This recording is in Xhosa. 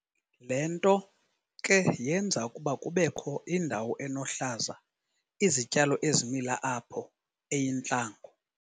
Le nto ke yenza ukuba kubekho indawo enohlaza izityalo ezimila apho eyintlango.